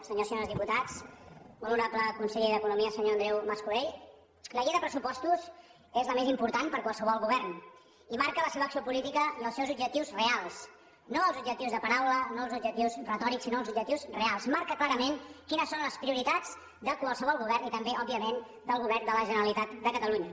senyors i senyores diputats molt honorable conseller d’economia senyor andreu mas colell la llei de pressupostos és la més important per qualsevol govern i marca la seva acció política i els seus objectius reals no els objectius de paraula no els objectius retòrics sinó els objectius reals marca clarament quines són les prioritats de qualsevol govern i també òbviament del govern de la generalitat de catalunya